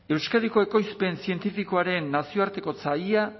euskadiko ekoizpen zientifikoaren nazioartekotza ia